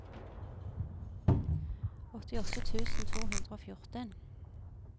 åttiåtte tusen to hundre og fjorten